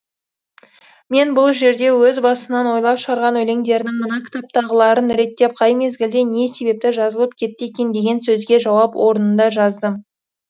мен бұл жерде өз басынан ойлап шығарған өлендерінің мына кітаптағыларын реттеп қай мезгілде не себепті жазылып кетті екен деген сөзге жауап орнында жаздым